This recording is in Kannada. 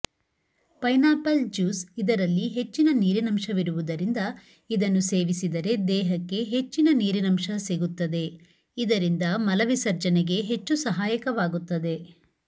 ಪೈನಾಪಲ್ ಜ್ಯೂಸ್ ಇದರಲ್ಲಿ ಹೆಚ್ಚಿನ ನೀರಿನಂಶವಿರುವುದರಿಂದ ಇದನ್ನು ಸೇವಿಸಿದರೆ ದೇಹಕ್ಕೆ ಹೆಚ್ಚಿನ ನೀರಿನಂಶ ಸಿಗುತ್ತದೆ ಇದರಿಂದ ಮಲವಿಸರ್ಜನೆಗೆ ಹೆಚ್ಚು ಸಹಾಯಕವಾಗುತ್ತದೆ